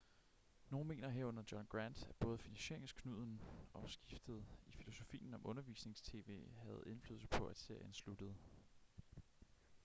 nogen mener herunder john grant at både finansieringsknuden og skiftet i filosofien om undervisnings-tv havde indflydelse på at serien sluttede